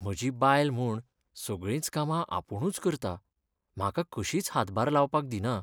म्हजी बायल म्हूण सगळींच कामां आपूणूच करता, म्हाका कशींच हातभार लावपाक दिना.